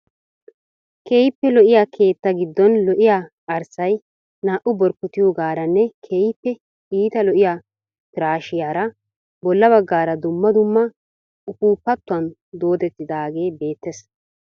Keehippe lo"iya keettaa giddon lo"iya arssay naa"u borkotiyogaaranne keehippe iita lo"iya piraashiyara bolla baggaara dumma dumma dumma ufuuppatun doodettidaagee beettees.